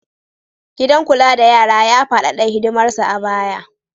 Gidan kula da yara ya faɗaɗa hidimarsa a baya